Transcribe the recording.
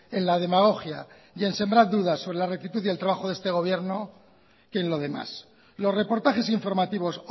en la demagogia y en sembrar dudas sobre la rectitud y el trabajo de este gobierno que en lo demás los reportajes informativos